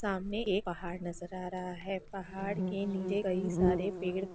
सामने एक पहाड़ नजर आ रहा है पहाड़ के नीचे कई सारे पेड़ --